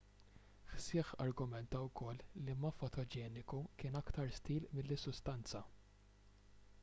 hsieh argumenta wkoll li ma fotogeniku kien aktar stil milli sustanza